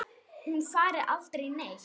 Hún fari aldrei neitt.